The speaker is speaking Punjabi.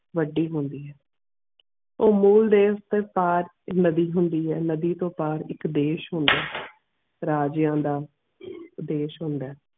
ਵੱਡੀ ਹੋਂਦੀ ਹੈ ਉਹ ਮੋਲ ਦੇਸ਼ ਦੇ ਪਾਰ ਇਕ ਨਦੀ ਹੋਂਦੀ ਹੈ ਨਦੀ ਤੂੰ ਪਾਰ ਇਕ ਦੇਸ਼ ਹੋਂਦ ਰਾਜਿਆਂ ਦਾ ਦੇਸ਼ ਹੋਂਦ.